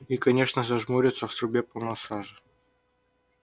и конечно зажмурься в трубе полно сажи